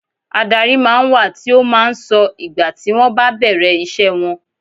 Adárí máa ń wà tí ó máa ń sọ ìgbà tí wọn bá bẹ̀rẹ̀ ìṣe wọn.